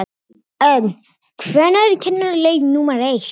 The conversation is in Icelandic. Ögn, hvenær kemur leið númer eitt?